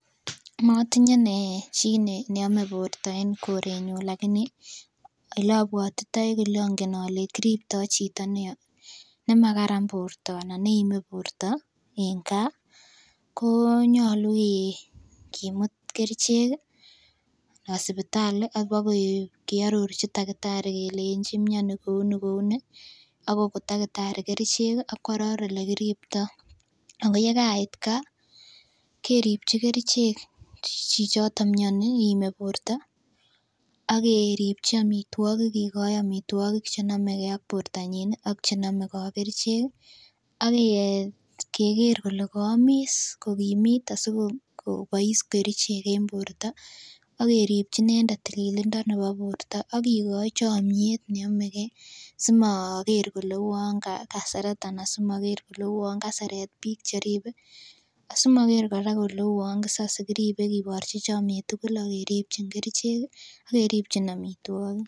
Matinye inee chi neame borta en korenyu lakini eleabutitai kole kiripta chito nekararan borto anan neame borta en kaa, konyalu ih kimuut kerichek ih anan sipitali kibagearorchi takitari keleenchi miani kouni kouni akokon takitari kerichek akoaror olekiripto akoyekait kaa keribchi kerichek chichoto mianii , akeripchi amituogik kikoi amituakik chenamegei ak borta nyin akchenamekei ak kerichek ih akeker kele kaamis asikokimit kobaise kerichek en borta akeripchi inendet tililindo nebo borta akikoi chamyeet neameke simoger kole uan kaseret anan kouwaan kaseret bik cheribe asimoker kora kole kisase kiribe kiborchin chomiet tugul akeribchin kerichek akeribchin amituakik